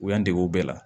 U y'an dege o bɛɛ la